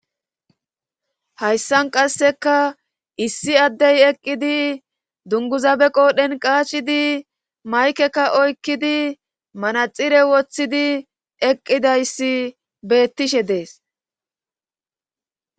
hayssan qasseka issi addey eqqidi dunguzabe qoodhen qaashshidi maykeka oykkidi manaxire woththidi eqqidayssi beettishe dees